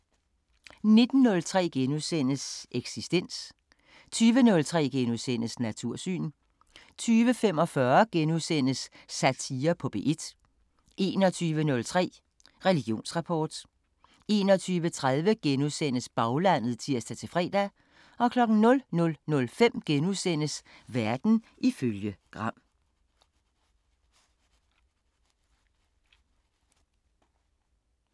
19:03: Eksistens * 20:03: Natursyn * 20:45: Satire på P1 * 21:03: Religionsrapport 21:30: Baglandet *(tir-fre) 00:05: Verden ifølge Gram *